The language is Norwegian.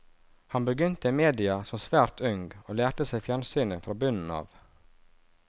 Han begynte i mediet som svært ung, og lærte seg fjernsynet fra bunnen av.